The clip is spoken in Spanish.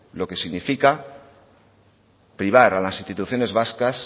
lo que significa privar a las instituciones vascas